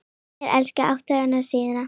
Finnur elskaði átthaga sína.